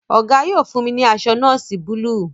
Ogo yóò fún mí ní aṣọ nọọsi Búlúù.